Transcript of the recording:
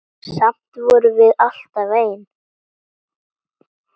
Samt vorum við alltaf ein.